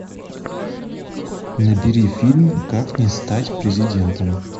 набери фильм как не стать президентом